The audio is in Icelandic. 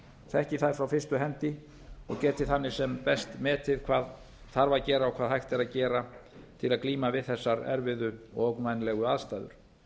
þekki þær frá fyrstu hendi og geti þannig sem best metið hvað þarf að gera og hvað hægt er að gera til að glíma við þessar erfiðu og ógnvænlegu aðstæður